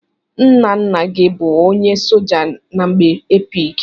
Ńnà ńnà gị bụ ọnye soja n'mgbe epic.